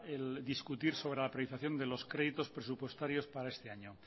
el discutir sobre la paralización de los créditos presupuestarios para este año